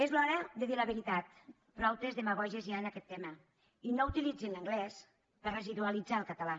és l’hora de dir la veritat prou demagògies hi ha en aquest tema i no utilitzin l’anglès per residualitzar el català